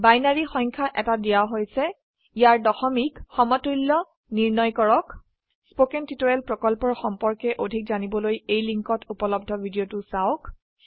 binary সংখ্যা এটা দিয়া হৈছে ইয়াৰ দশমিক সমতুল্য নিৰ্ণয় কৰক উদাহৰণস্বৰুপে 11010 gt 26 স্পোকেন টিউটোৰিয়েল প্ৰকল্পৰ সম্পৰ্কে অধিক জানিবলৈ এই লিঙ্কত উপলব্ধ ভিডিওটো চাওক